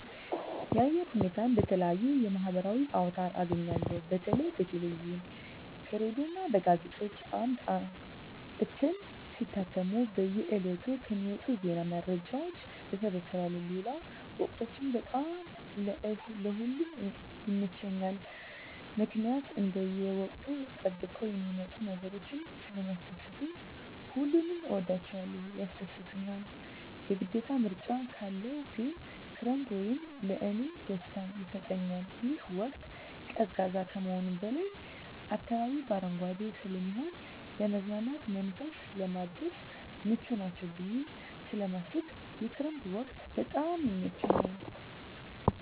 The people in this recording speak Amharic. የአየር ሁኔታን በተለየዩ የማህበራዊ አውታር አገኛለሁ በተለይ በቴሌቪዥን ከሬዲዮ እና በጋዜጦች አምድ እትም ሲታተሙ በየ ዕለቱ ከሚወጡ ዜና መረጃዎች እሰበስባለሁ ሌለው ወቅቶች በጣም ለእ ሁሉም ይመቸኛል ምክኒያት እንደየ ወቅቱን ጠብቀው የሚመጡ ነገሮች ስለሚስደስቱኝ ሁሉንም እወዳቸዋለሁ ያስደስቱኛል የግዴታ ምርጫ ካለው ግን ክረምት ወቅት ለእኔ ደስታ ይሰጠኛል ይህ ወቅት ቀዝቃዛ ከመሆኑም በላይ አካባቢው በአረንጓዴ ስለሚሆን ለመዝናናት መንፈስን ለማደስ ምቹ ናቸው ብየ ስለማስብ የክረምት ወቅት በጣም ይመቸኛል።